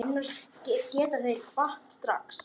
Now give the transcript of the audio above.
Annars geta þeir kvatt strax.